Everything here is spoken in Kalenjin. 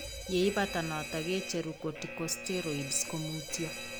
Yeibata notok kicheru corticosteroids komutyo